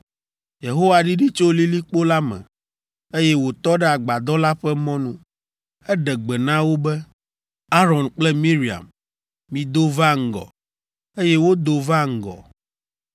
Yehowa ɖiɖi tso lilikpo la me, eye wòtɔ ɖe agbadɔ la ƒe mɔnu. Eɖe gbe na wo be, “Aron kple Miriam, mido va ŋgɔ,” eye wodo va ŋgɔ.